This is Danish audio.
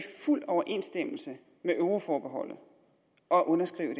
i fuld overensstemmelse med euroforbeholdet at underskrive